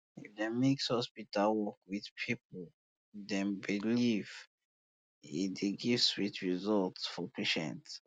if dem mix hospital um work with people dem beliefs um e dey give sweet result um for patient